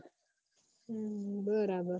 હમ બરાબર